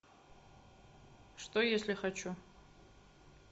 что если хочу